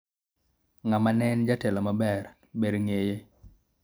ng'ama ne en jatelo maber ,ber ng'eye